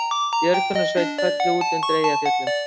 Björgunarsveit kölluð út undir Eyjafjöllum